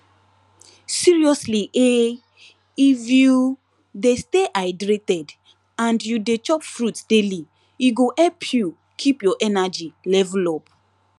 seriously ehh if you de stay hydrated and you de chop fruits daily e go help you keep your energy level up